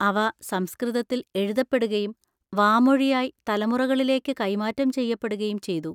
അവ സംസ്കൃതത്തിൽ എഴുതപ്പെടുകയും വാമൊഴിയായി തലമുറകളിലേക്ക് കൈമാറ്റം ചെയ്യപ്പെടുകയും ചെയ്തു.